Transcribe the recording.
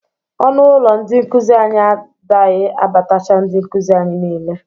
Ọnụ ụlọ ndị nkụzị anyị adaghi abatacha ndị nkụzị anyị niile.